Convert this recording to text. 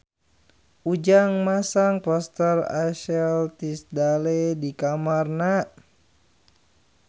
Ujang masang poster Ashley Tisdale di kamarna